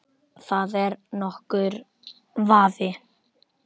Það er ekki nokkur vafi.